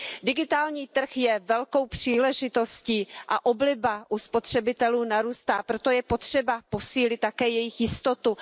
Digitální trh je velkou příležitostí a obliba u spotřebitelů narůstá, proto je potřeba posílit také jejich jistotu.